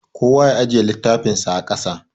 Kowa ya ajiye littafinsa a ƙasa.